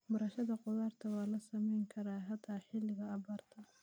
Beerashada khudaarta waa la samayn karaa xitaa xilliga abaarta.